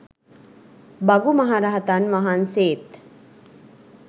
භගු මහරහතන් වහන්සේත්